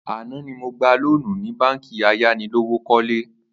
Àná ni mo gba lóònù ní báǹkì ayánilówókó̩le